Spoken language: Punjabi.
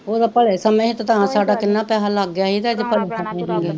ਉਦੋਂ ਭਲੇ ਸਮੇ ਸੀ ਤਾਂ ਸਾਡਾ ਕਿੰਨਾ ਪੈਹਾ ਲੱਗ ਗਿਆ ਸੀ ਤਾਂ ਅੱਜ ਭਲੇ ਸਮੇ ਕੀਥੇ ਰਹਿ,